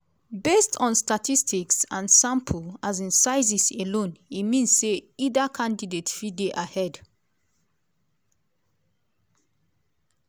based on statistics and sample um sizes alone e mean say either candidate fit dey ahead.